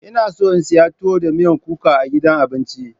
Ina so in sayi tuwo da miyan kuka a gidan abinci.